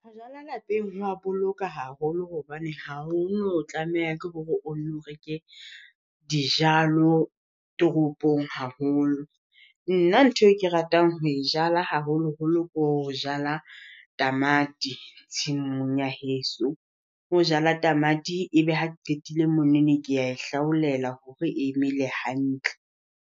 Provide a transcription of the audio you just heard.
Ho jala lapeng ho wa boloka haholo hobane ha ho no tlameha ke hore o nno reke dijalo toropong haholo. Nna ntho e ke ratang ho e jala haholoholo ko ho jala tamati tshimong ya heso. Ho jala tamati ebe ha ke qetile monene kea e hlaolela hore e mele hantle.